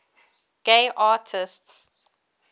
gay artists